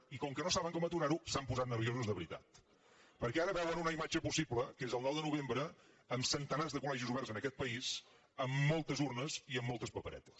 i com que no saben com aturar ho s’han posat nerviosos de veritat perquè ara veuen una imatge possible que és el nou de novembre amb centenars de col·ís amb moltes urnes i amb moltes paperetes